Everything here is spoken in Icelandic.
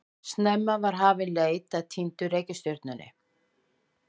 Snemma var hafin leit að týndu reikistjörnunni.